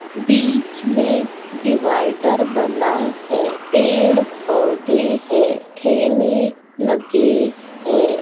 बीच में डिवाइडर बना है | पेड़ बंधे हैं ठेले लगे हैं।